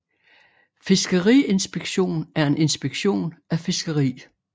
Fiskeriinspektion er en inspektion af fiskeri